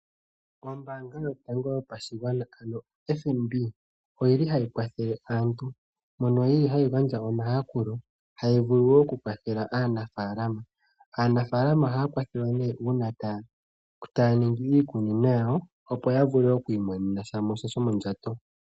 Ombaanga yotango yopashigwana ano oFNB oyili hayi kwathele aantu, mono yili hayi gandja omayakulo hayi vulu wo oku kwathela aanafaalama. Aanafalama ohaya kwathelwa ne uuna taya ningi iikunino yawo opo ya vule okwiimonena mo sha sho mondjato.